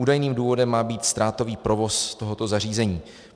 Údajným důvodem má být ztrátový provoz tohoto zařízení.